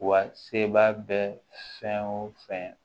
Wa sebaa bɛ fɛn o fɛn